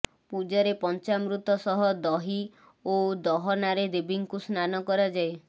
ପୂଜାରେ ପଞ୍ଚାମୃତ ସହ ଦହି ଓ ଦହନାରେ ଦେବୀଙ୍କୁ ସ୍ନାନ କରାଯାଏ